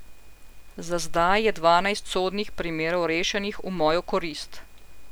Za zdaj je dvanajst sodnih primerov rešenih v mojo korist.